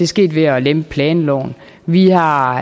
sket ved at lempe planloven vi har